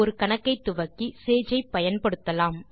ஒரு கணக்கை துவக்கி Sage ஐ பயன்படுத்தலாம்